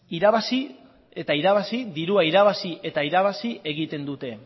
dirua irabazi eta irabazi egiten dute